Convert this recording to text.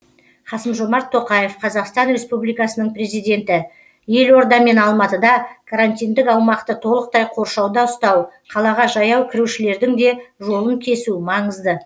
қасым жомарт тоқаев қазақстан республикасының президенті елорда мен алматыда карантиндік аумақты толықтай қоршауда ұстау қалаға жаяу кірушілердің де жолын кесу маңызды